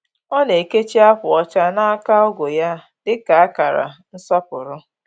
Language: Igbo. Ọ na-ekechi akwa ọcha n’aka ọgu ya dị ka akara nsọpụrụ.